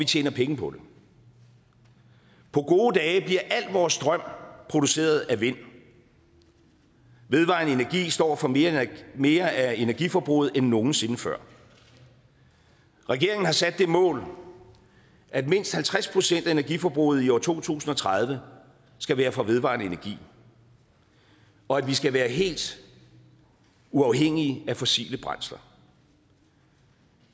tjene penge på det på gode dage bliver al vores strøm produceret af vind vedvarende energi står for mere mere af energiforbruget end nogensinde før regeringen har sat det mål at mindst halvtreds procent af energiforbruget i år to tusind og tredive skal være fra vedvarende energi og at vi skal være helt uafhængige af fossile brændsler